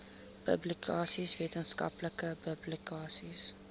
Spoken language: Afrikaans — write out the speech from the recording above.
publikasies wetenskaplike publikasies